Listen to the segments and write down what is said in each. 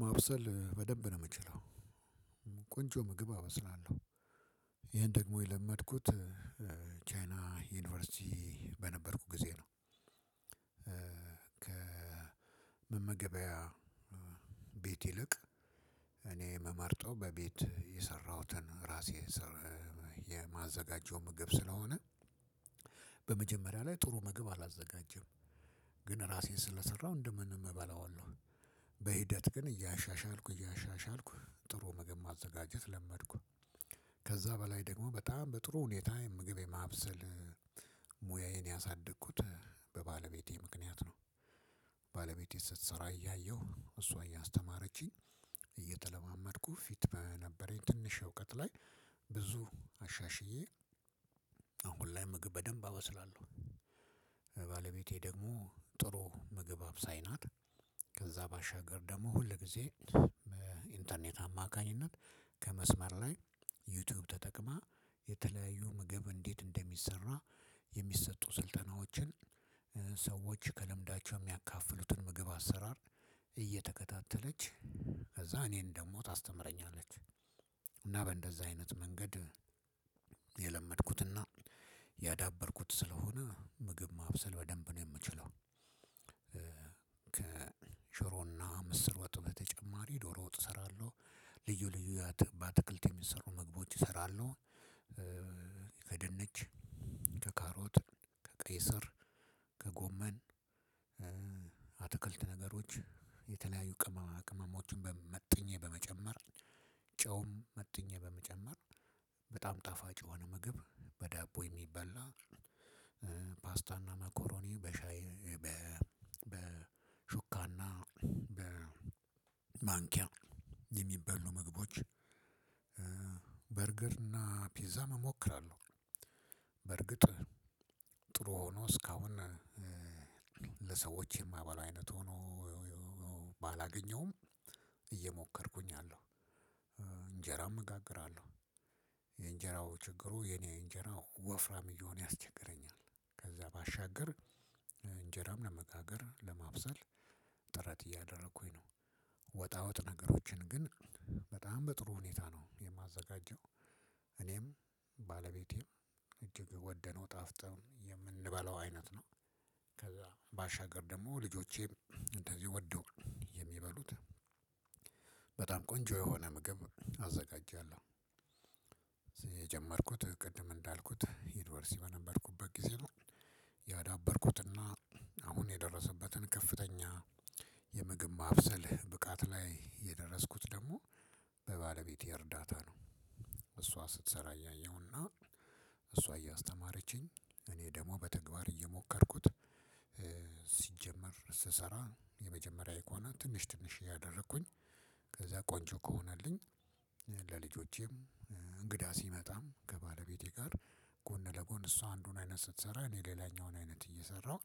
ማብሰል በደንብ ነው የምችለው። ቆንጆ ምግብ አበስላለሁ። ይሄን ደግሞ የለመድኩት ቻይና ዩኒቨርሲቲ በነበርኩት ጊዜ ነው። ከመመገበያ ቤት ይልቅ እኔ የምመርጠው በቤት የሰራሁትን ራሴ የማዘጋጀውን ምግብ ስለሆነ በመጀመሪያ ላይ ጥሩ መግብ አላዘጋጅም። ግን ራሴን ስለሰራሁ እንደምንም እበላዋለሁ። በሂደት ግን እያሻሻልኩ እያሻሻልኩ ጥሩ ምግብ ማዘጋጀት ለመድኩ። ከዛ በላይ ደግሞ በጣም በጥሩ ሁኔታ ምግብ የማብሰል ሙያዬን ያሳደግኩት በባለቤቴ ምክንያት ነው። ባለቤቴ ስትሰራ እያየሁ እሷ እያስተማረችኝ እየተለማመድኩ ፊት በነበረኝ ትንሽ እውቀት ላይ ብዙ አሻሽዬ አሁን ላይ ምግብ በደንብ አበስላለሁ። ባለቤቴ ደግሞ ጥሩ ምግብ አብሳይ ናት። ከዛ ባሻገር ደግሞ ሁል ጊዜ በኢንተርኔት አማካኝነት ከመስመር ላይ ዩቲዩብ ተጠቅማ የተለያዩ ምግብ እንዴት እንደሚሰራ የሚሰጡ ስልጠናዎችን ሰዎች ከልምዳቸው የሚያካፍሉትን የምግብ አሰራር እየተከታተለች ከዛ እኔን ደሞ ታስተምረኛለች። እና በእንደዚህ አይነት መንገድ የለመድኩትና ያዳበርኩት ስለሆነ ምግብ ማብሰል በደንብ ነው የምችለው። ከሽሮና ምስር ወጥ በተጨማሪ ዶሮ ወጥ እሰራለሁ። ልዩ ልዩ ባትክልት የሚሰሩ ምግባቶች እሰራለሁ። ከድንች፣ ከካሮት፣ ከቀይ ስር፣ ከጎመን አትክልት ነገሮች የተለያዩ ቅመማ ቅመሞችን መጥኜ በመጨመር ጨውም መጥኜ በመጨመር በጣም ጣፋጭ የሆነ ምግብ በዳቦ የሚበላ ፓስታና መኮሮኒ በሻይ በሹካና በማንኪያ የሚበሉ ምግቦች በርገር እና ፒዛም እሞክራለሁ። በርግጥ ጥሩ ሆኖ እስካሁን ለሰዎች የማበላው አይነት ሆኖ ባላገኘውም እየሞከርኩኝ አለው። እንጀራም እጋግራለሁ። የእንጀራው ችግሩ የኔ እንጀራ ወፍራም እየሆነ ያስቸግረኛል። ከዛ ባሻገር እንጀራም ለመጋገር ለማብሰል ጥረት እያደረኩኝ ነው። ወጣወጥ ነገሮችን ግን በጣም በጥሩ ሁኔታ ነው የማዘጋጀው። እኔም ባለቤቴም እጅግ ወደው ጣፍጦን የምንበላው አይነት ነው። ከዛ ባሻገር ደግሞ ልጆቼም እንደዚሁ ወደው የሚበሉት በጣም ቆንጆ የሆነ ምግብ አዘጋጃለሁ። የጀመርኩት ቅድም እንዳልኩት ይኑቨርስቲ በነበርኩበት ጊዜ ነው። ያዳበርኩትና አሁን የደረሰበትን ከፍተኛ የምግብ ማብሰል ብቃት ላይ የደረስኩት ደግሞ በባለቤቴ እርዳታ ነው። እሷ ስትሰራ እያየሁና እሷ እያስተማረችኝ እኔ ደግሞ በተግባር እየሞከርኩት፤ ሲጀመር ስሰራ የመጀመሪያ ኢኮናል ትንሽ ትንሽ እያደረኩኝ ከዛ ቆንጆ ከሆነልኝ ለልጆቼም እንግዳ ሲመጣም ከባለቤቴ ጋር ጎን ለጎን እሷ አንዱን አይነት ስትሰራ እኔ ሌላኛውን አይነት እየሰራሁ፤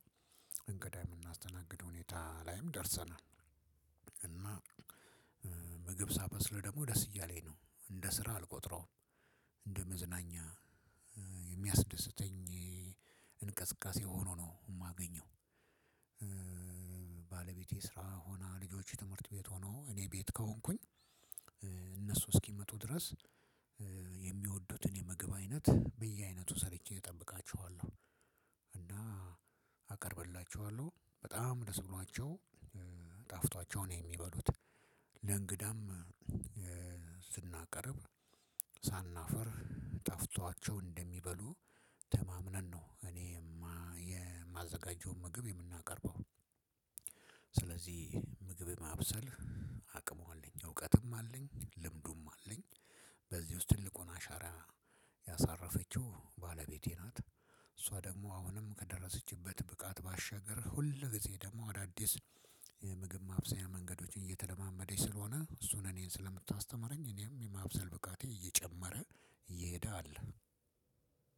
እንግዳ የምናስተናግድበት ሁኔታ ላይም ደርሰናል። እና ምግብ ሳበስል ደግሞ ደስ እያለኝ ነው። እንደ ስራ አልቆጥረው። እንደመዝናኛ የሚያስደስተኝ እንቅስቃሴ ሆኖ ነው የማገኘው። ባለቤቴ ስራ ሆና ልጆቼ ትምህርት ቤት ሆነው እኔ ቤት ከሆንኩኝ እነሱ እስኪመጡ ድረስ የሚወዱትን የምግብ አይነት በየአይነቱ ሰርቼ እጠብቃቸዋለው። እና አቀርብላችኋለው። በጣም ደስ ብሏቸው ጣፍጧቸው ነው የሚበሉት። ለእንግዳም ስናቀርብ ሳናፍር ጣፍጧቸው እንደሚበሉ ተማምነን ነው እኔ የማዘጋጀውን ምግብ የምናቀርበው። ስለዚህ ምግብ ማብሰል አቅሙ አለኝ፣ እውቀትም አለኝ፣ ልምዱም አለኝ። በዚህ ውስጥ ትልቁን አሻራ ያሳረፈችው ባለቤቴ ናት። እሷ ደግሞ አሁንም ከደረሰችበት ብቃት ባሻገር ሁል ጊዜ ደግሞ አዳዲስ የምግብ ማብሰያ መንገዶችን እየተለማመደች ስለሆነ እሱን እኔን ስለምታስተምረኝ እኔም የማብሰል ብቃቴ እየጨመረ እየሄደ አለ።